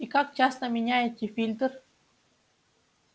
и как часто меняете фильтр